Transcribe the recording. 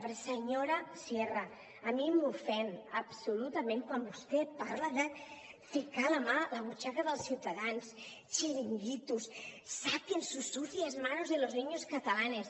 perquè senyora sierra a mi m’ofèn absolutament quan vostè parla de ficar la mà a la butxaca dels ciutadans xiringuitos saquen sus sucias manos de los niños catalanes